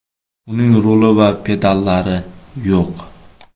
Uning ruli va pedallari yo‘q.